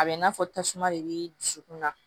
A bɛ i n'a fɔ tasuma de b'i dusukunna